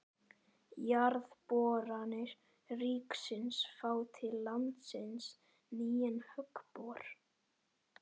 Jarðboranir ríkisins fá til landsins nýjan höggbor